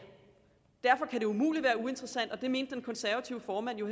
derfor kan det umuligt være uinteressant og det mente den konservative formand jo